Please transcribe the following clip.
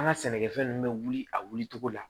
An ka sɛnɛkɛfɛn ninnu bɛ wuli a wuli cogo la